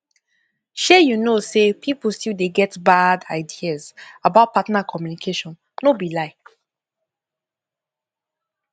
shay you know say people still dey get bad ideas about partner communication no be lie